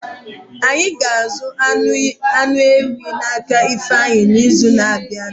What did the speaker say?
Ányi ga-azu anụ ewí na-aka ifeanyi n'izu na-abịa